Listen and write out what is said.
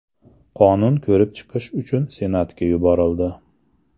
Qonun ko‘rib chiqish uchun Senatga yuborildi.